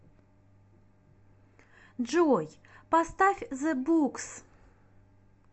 джой поставь зэ букс